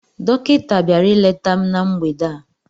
Dọkịta bịara ileta m na mgbede a